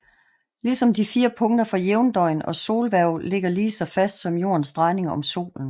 Ligesom de fire punkter for jævndøgn og solhver ligger lige så fast som Jordens drejning om solen